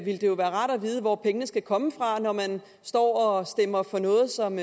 ville det jo være rart at vide hvor pengene skal komme fra når man står og stemmer for noget som